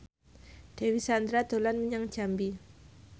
Dewi Sandra dolan menyang Jambi